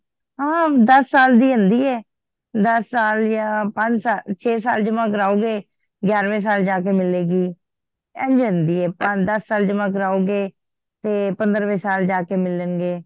ਹਾਂ ਦੱਸ ਸਾਲ ਦੀ ਹੁੰਦੀਐ ਦੱਸ ਯਾ ਪੰਜ ਸਾਲ ਛੇ ਸਾਲ ਜਮਾ ਕਰਵਾਓਗੇ ਗਯਾਰਵੇ ਸਾਲ ਜਾ ਕ ਮਿਲੇਗੀ ਇੰਝ ਹੁੰਦੀ ਆ ਦੱਸ ਸਾਲ ਜਮਾ ਕਰਾਓਗੇ ਤੇ ਪੰਦਰਵੇ ਸਾਲ ਜਾ ਕੇ ਮਿਲਣ ਗੇ